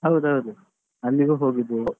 ಹೌದೌದು ಅಲ್ಲಿಗೂ ಹೋಗಿದ್ದೇವೆ.